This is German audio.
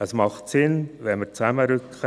Es macht Sinn, wenn wir zusammenrücken: